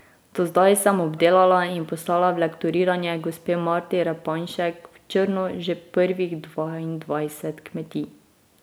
Do zdaj sem obdelala in poslala v lektoriranje gospe Marti Repanšek v Črno že prvih dvaindvajset kmetij.